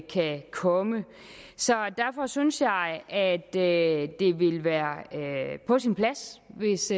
kan komme derfor synes jeg at det ville være på sin plads hvis